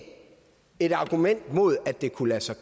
et argument mod at det kunne lade sig